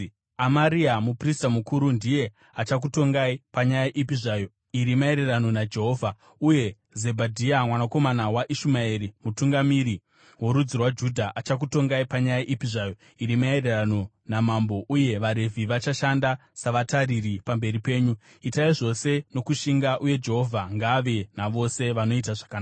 “Amaria muprista mukuru ndiye achakutongai panyaya ipi zvayo iri maererano naJehovha. Uye Zebhadhia mwanakomana waIshumaeri mutungamiri worudzi rwaJudha, achakutongai panyaya ipi zvayo iri maererano naMambo uye vaRevhi vachashanda savatariri pamberi penyu. Itai zvose nokushinga uye Jehovha ngaave navose vanoita zvakanaka.”